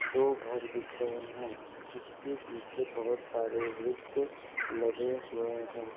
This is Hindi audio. दो घर दिख रहे हैं जिसके पीछे बहुत सारे वृक्ष लगे हुए हैं।